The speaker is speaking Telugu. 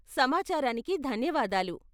సమాచారానికి ధన్యవాదాలు.